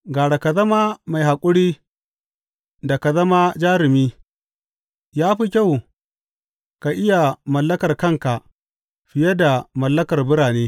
Gara ka zama mai haƙuri da ka zama jarumi, ya fi kyau ka iya mallakar kanka fiye da mallakar birane.